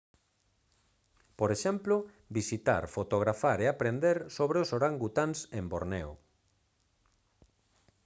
por exemplo visitar fotografar e aprender sobre os orangutáns en borneo